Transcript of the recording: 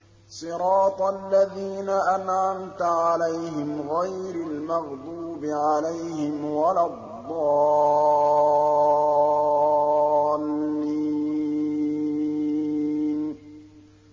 صِرَاطَ الَّذِينَ أَنْعَمْتَ عَلَيْهِمْ غَيْرِ الْمَغْضُوبِ عَلَيْهِمْ وَلَا الضَّالِّينَ